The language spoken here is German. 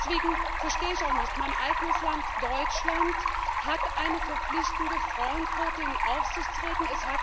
Deswegen verstehe ich auch nicht Mein eigenes Land Deutschland hat eine verpflichtende Frauenquote in Aufsichtsräten.